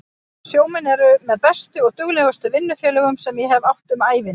Sjómenn eru með bestu og duglegustu vinnufélögum sem ég hef átt um ævina.